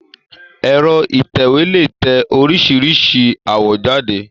Ẹ̀́rọ ìtẹ̀wé lè tẹ oríṣìíríṣìí àwọ̀ jáde.